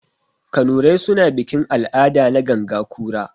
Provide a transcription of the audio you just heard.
Kanurai suna bikin-al'ada na ganga kura.